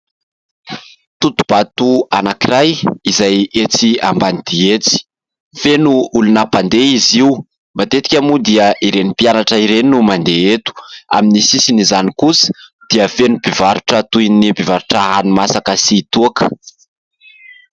Totohabato anankiray izay etsy Ambanidia etsy. Feno olona mpandeha izy io ; matetika moa dia ireny mpianatra ireny no mandeha eto. Amin'ny sisin'izany kosa dia feno mpivarotra toy ny mpivarotra hani-masaka sy toaka.